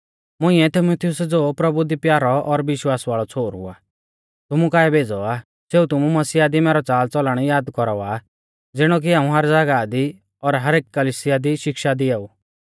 मुंइऐ तीमुथियुस ज़ो प्रभु दी प्यारौ और विश्वास वाल़ौ छ़ोहरु आ तुमु काऐ भेज़ौ आ सेऊ तुमु मसीहा दी मैरौ च़ालच़लण याद कौरावा ज़िणौ कि हाऊं हर ज़ागाह दी और एक कलिसिया दी शिक्षा दियाऊ